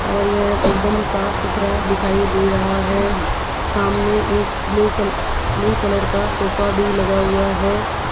और यह एकदम साफ सुथरा दिखाई दे रहा है सामने एक ब्लू कल ब्लू कलर का सोफा भी लगा हुआ है।